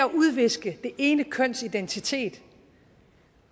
udviske det ene køns identitet